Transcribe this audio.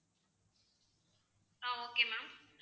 ah okay ma'am